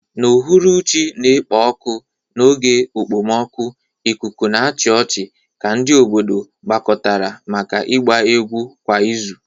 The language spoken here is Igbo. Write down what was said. N'uhuruchi na-ekpo ọkụ n'oge okpomọkụ, ikuku na-achị ọchị ka ndị obodo gbakọtara maka ịgba egwu kwa izu.